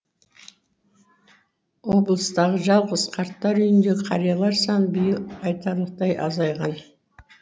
облыстағы жалғыз қарттар үйіндегі қариялар саны биыл айтарлықтай азайған